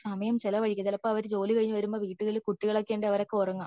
സമയം ചിലവഴിക്ക ചിലപ്പോ അവർ ജോലി കഴിഞ്ഞു വരുമ്പോ വീടുകളിൽ കുട്ടികൾ ഒക്കെ ഉണ്ടേൽ അവര് ഉറങ്ങാ